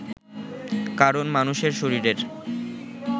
কারণ, মানুষের শরীরের